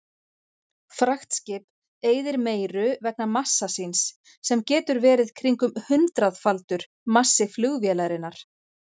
Fraktskip eyðir meiru vegna massa síns sem getur verið kringum hundraðfaldur massi flugvélarinnar.